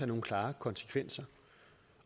nogle klare konsekvenser